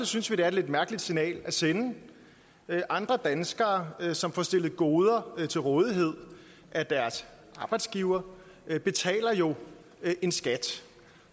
synes vi det er et lidt mærkeligt signal at sende andre danskere som får stillet goder til rådighed af deres arbejdsgiver betaler jo en skat